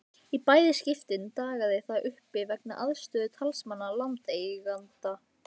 Í bæði skiptin dagaði það uppi vegna andstöðu talsmanna landeigenda.